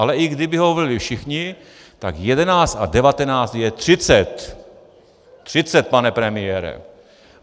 Ale i kdyby ho volili všichni, tak 11 a 19 je 30. Třicet, pane premiére.